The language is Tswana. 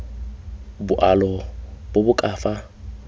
boalo bo bo ka fa